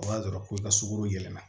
O b'a jira ko i ka sogo yɛlɛma